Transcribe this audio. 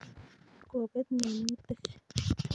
Kopet minutik